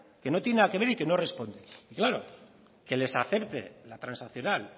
que no tiene nada que ver y que no responde claro que les acepte la transaccional